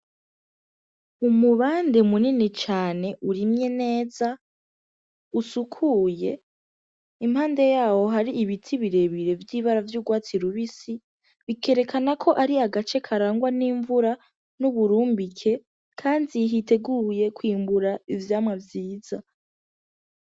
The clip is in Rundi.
Umubande munini cane urimye neza, ufukuye, impande yaho hari ibiti birebire vy'ibara ry'urwatsi rubisi bikerekana ko ari agace karangwa n'imvura, n'uburumbike kandi hiteguye kwimbuka ivyamwa vyiza.